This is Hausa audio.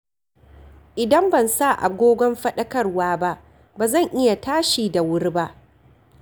Idan ban sa agogon faɗakarwa ba, ba zan iya tashi da wuri ba.